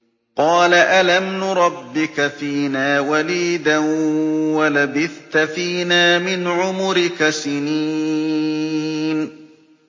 قَالَ أَلَمْ نُرَبِّكَ فِينَا وَلِيدًا وَلَبِثْتَ فِينَا مِنْ عُمُرِكَ سِنِينَ